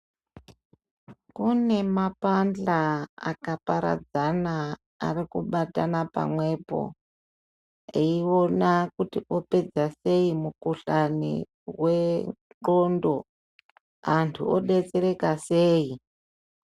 Kune mapahla akaparadzana ari kubatana pamwepo eiona kuti opedza sei mukhuhlani wendxondo antu odetsereka sei.